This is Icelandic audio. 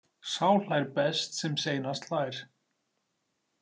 Sá hlær best sem seinast hlær.